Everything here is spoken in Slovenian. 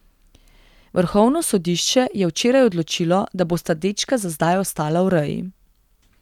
Vrhovno sodišče je včeraj odločilo, da bosta dečka za zdaj ostala v reji.